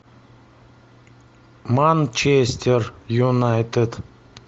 манчестер юнайтед